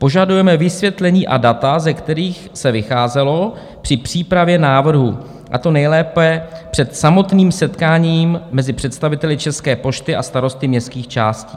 Požadujeme vysvětlení a data, ze kterých se vycházelo při přípravě návrhu, a to nejlépe před samotným setkáním mezi představiteli České pošty a starosty městských částí.